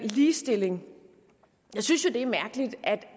ligestilling jeg synes jo det er mærkeligt at